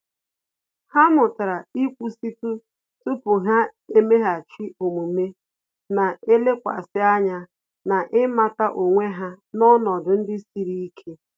Há mụ́tàrà íkwụ́sị́tụ tupu há èméghàchí omume, nà-èlékwasị ányá na ị́màtà onwe ha n’ọnọdụ ndị siri ike.